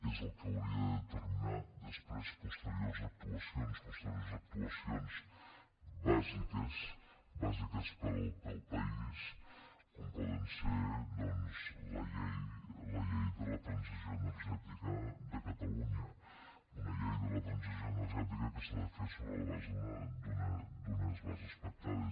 és el que hauria de determinar després posteriors actuacions posteriors actuacions bàsiques bàsiques per al país com pot ser doncs la llei de la transició energètica de catalunya una llei de la transició energètica que s’ha de fer sobre la base d’unes bases pactades